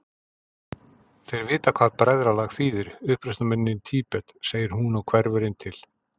Þeir vita hvað bræðralag þýðir, uppreisnarmennirnir í Tíbet, segir hún og hverfur inn til